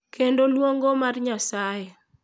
Kendo lwongo mar Nyasaye,